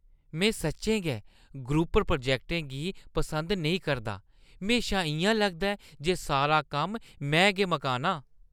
में सच्चें गै ग्रुप प्रोजैक्टें गी पसंद नेईं करदा; म्हेशा इ'यां लगदा ऐ जे सारा कम्म में गै मकान्नां।